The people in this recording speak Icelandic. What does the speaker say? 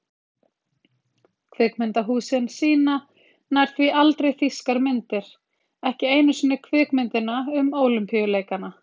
Kvikmyndahúsin sýna nær því aldrei þýskar myndir, ekki einu sinni kvikmyndina um ólympíuleikana.